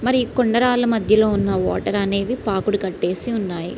మరి కొండ రాళ్ల మధ్యలో ఉన్న వాటర్ అనేది పాకుడు కట్టేసి ఉన్నాయి.